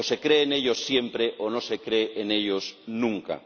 O se cree en ellos siempre o no se cree en ellos nunca.